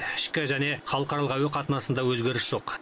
ішкі және халықаралық әуе қатынасында өзгеріс жоқ